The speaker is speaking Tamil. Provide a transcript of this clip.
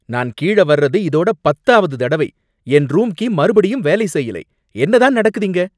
நான் கீழ வர்றது இதோட பத்தாவது தடவை. என் ரூம் கீ மறுபடியும் வேலை செய்யலை. என்னதான் நடக்குது இங்க